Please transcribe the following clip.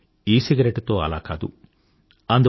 కానీ ఇసిగరెట్టు తో అలా కాదు